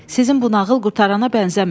Sizin bu nağıl qurtarana bənzəmir.